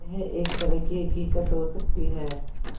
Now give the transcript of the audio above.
यह एक तरह की हक़ीक़त हो सकती है